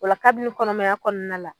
O la kabini kɔnɔmaya kɔɔna la